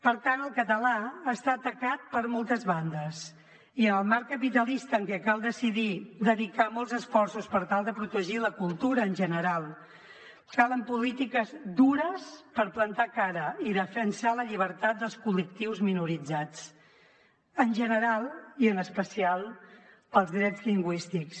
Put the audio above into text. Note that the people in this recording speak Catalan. per tant el català està atacat per moltes bandes i en el marc capitalista en què cal decidir dedicar molts esforços per tal de protegir la cultura en general calen polítiques dures per plantar cara i defensar la llibertat dels col·lectius minoritzats en general i en especial pels drets lingüístics